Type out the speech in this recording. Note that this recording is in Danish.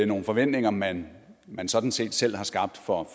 nogle forventninger man man sådan set selv har skabt for